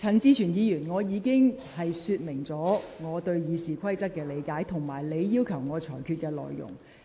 陳志全議員，我已就我對《議事規則》的理解及你要求我裁決的內容作出說明。